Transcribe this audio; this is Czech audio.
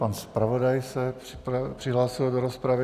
Pan zpravodaj se přihlásil do rozpravy.